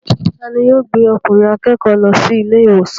Ta ni yóò gbé okùnrin akékòó lọ sí ilé ìwòsàn.